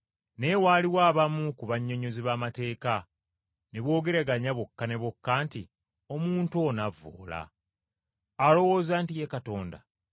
Naye waaliwo abamu ku bannyonnyozi b’amateeka ne boogeraganya bokka na bokka nti, “Omuntu ono avvoola! Alowooza nti Ye Katonda!”